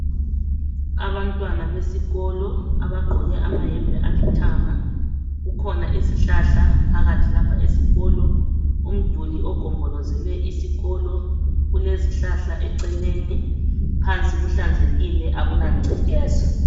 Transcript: Abantwana besikolo abagqoke amayembe alithanga. Kukhona izihlahla phakathi lapha esikolo, umduli ogombolozele isikolo kulezihlahla eceleni, phansi kuhlanzekile akulangcekeza.